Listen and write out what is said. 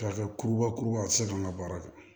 Kɛrɛfɛ kurubakuruba a tɛ se k'an ka baara kɛ